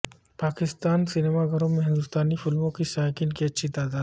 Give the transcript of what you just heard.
Pakistani cinema گھروں میں ہندوستانی فلموں کے شائقین کی اچھی تعداد ہوتی ہے